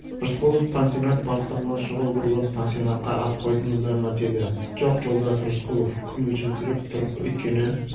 рысқұлов пансионат бастығына шұғыл бұрылып пансионатқа ат қойдыңыздар ма деді жоқ жолдас рысқұлов күмілжіңкіреп тұрып өйткені